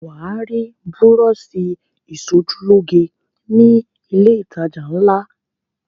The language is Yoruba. Wà á rí búrọ́ṣì ìṣojúlóge ni ilé-ìtajà ńlá.